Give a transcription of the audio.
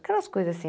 Aquelas coisas assim.